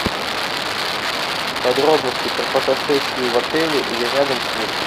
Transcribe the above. подробности про фотосессию в отеле или рядом с ним